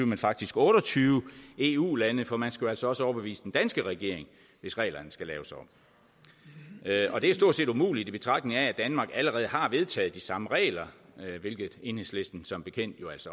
men faktisk otte og tyve eu lande for man skal jo altså også overbevise den danske regering hvis reglerne skal laves om og det er stort set umuligt i betragtning af at danmark allerede har vedtaget de samme regler hvilket enhedslisten som bekendt